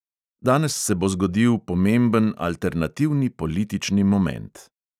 Danes se bo zgodil pomemben alternativni politični moment.